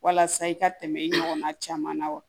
Walasa i ka tɛmɛ i ɲɔgɔnna caman na wa